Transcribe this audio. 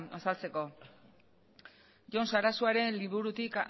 azaltzeko jon sarasuaren liburutik